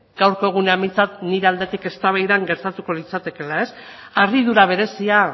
gaurko egunean behintzat nire aldetik eztabaidan gertatuko litzatekeela harridura berezia